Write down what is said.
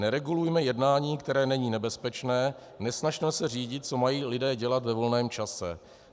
Neregulujme jednání, které není nebezpečné, nesnažme se řídit, co mají lidé dělat ve volném čase.